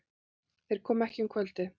Þeir komu ekki um kvöldið.